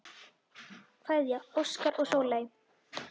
Kveðja, Óskar og Sóley.